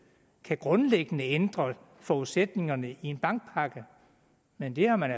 grundlæggende kan ændre forudsætningerne i en bankpakke men det har man